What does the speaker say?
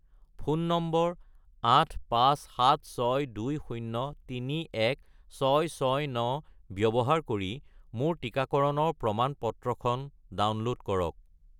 Phone number 85762031669 ব্যৱহাৰ কৰি মোৰ টিকাকৰণৰ প্ৰমাণ-পত্ৰখন ডাউনল'ড কৰক।